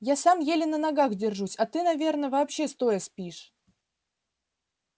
я сам еле на ногах держусь а ты наверное вообще стоя спишь